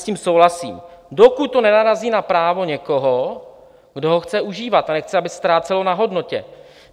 S tím souhlasím, dokud to nenarazí na právo někoho, kdo ho chce užívat, a nechce, aby ztrácel na hodnotě.